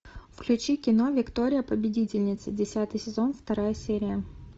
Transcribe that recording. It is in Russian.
включи кино виктория победительница десятый сезон вторая серия